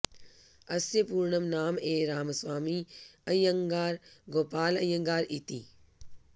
अस्य पूर्णं नाम् ए रामस्वामी अय्यङ्गार गोपाल अय्यङ्गारः इति